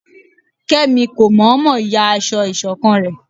Kemí kómọmọ yá aso isokan re